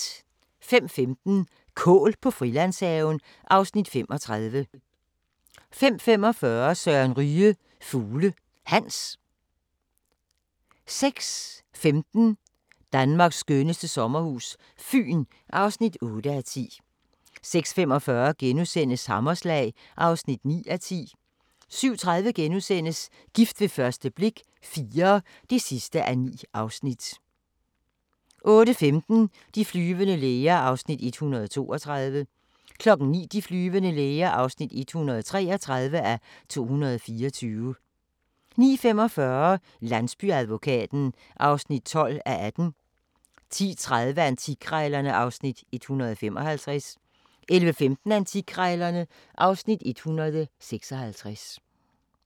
05:15: Kål på Frilandshaven (Afs. 35) 05:45: Søren Ryge – Fugle Hans 06:15: Danmarks skønneste sommerhus - Fyn (8:10) 06:45: Hammerslag (9:10)* 07:30: Gift ved første blik – IV (9:9)* 08:15: De flyvende læger (132:224) 09:00: De flyvende læger (133:224) 09:45: Landsbyadvokaten (12:18) 10:30: Antikkrejlerne (Afs. 155) 11:15: Antikkrejlerne (Afs. 156)